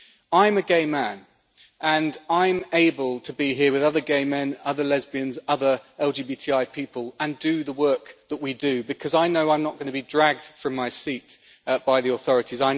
I am a gay man and I am able to be here with other gay men, other lesbians, other LGBTI people and do the work that we do, because I know I am not going to be dragged from my seat by the authorities.